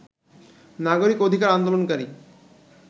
নাগরিক অধিকার আন্দোলনকারী